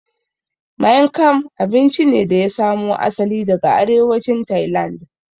Maing kam abinci ne da ya samo asali daga arewacin Tailand